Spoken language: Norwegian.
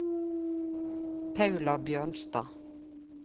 Paula Bjørnstad